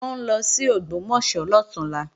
Wọ́n ń lọ sí Ògbómọ̀ṣọ́ lọ̀túnla